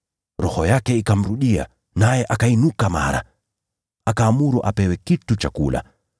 Roho yake ikamrudia, naye akainuka mara moja. Akaamuru apewe kitu cha kula.